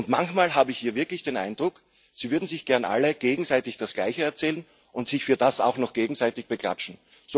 Manchmal habe ich hier wirklich den Eindruck, Sie würden sich gerne alle gegenseitig das Gleiche erzählen und sich für das auch noch gegenseitig beklatschen.